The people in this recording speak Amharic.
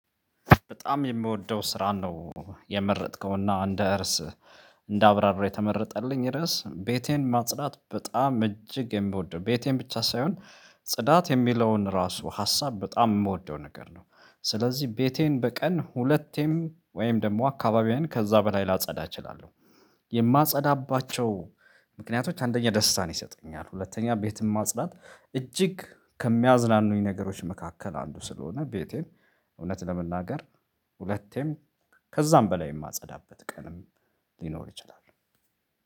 በጣም የምወደው ስራ ነው የመረጥከውና እንደ እርስ እንደ አብራራ የተመረጠልኝ ርዕስ ቤቴን ማጽዳት በጣም እጅግ የምወደው ቤቴን ብቻ ሳይሆን ጽዳት የሚለውን ራሱ ሀሳብ በጣም የምወደው ነገር ነው። ስለዚህ ቤቴን በቀን ሁለቴም ወይም ደግሞ አካባቢዬን ከዛ በላይ ላጸዳ እችላለሁ። የማጸዳባቸው ምክንያቶች አንደኛ ደስታን ይሰጠኛል። ሁለተኛ ቤትም ማጽዳት እጅግ ከሚያዝናኑኝ ነገሮች መካከል አንዱ ስለሆነ ቤቴን እውነት ለመናገር ሁለቴም ከዛም በላይ የማጸዳበት ቀንም ሊኖር ይችላል